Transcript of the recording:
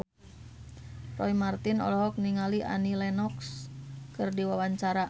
Roy Marten olohok ningali Annie Lenox keur diwawancara